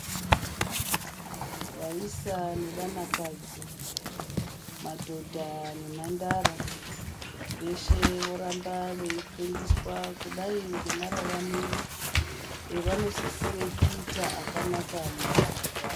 Vaisa ne vana kadzi madhodha ne mhandara veshe voramba veyi fundiswa kudai nge mararamiro evano sisire kuita akanaka mu ndaramo dzavo.